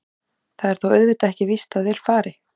Það er þó auðvitað ekki víst að vel fari.